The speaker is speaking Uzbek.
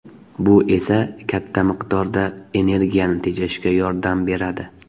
Bu esa katta miqdorda energiyani tejashga yordam beradi.